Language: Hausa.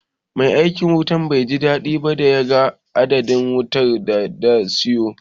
Mai aikin wutan bai ji daɗi ba da ya ga adadin wayar da na siyo.